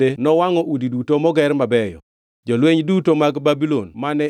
Jolweny duto mag Babulon mane ichiko gi jatend jolweny marito ruoth ne omuko ohinga moluoro Jerusalem.